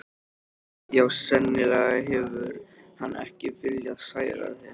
Já, sennilega hefur hann ekki viljað særa þig.